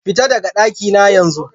Fita daka ɗaki na yanzu!